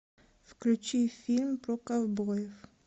включи фильм про ковбоев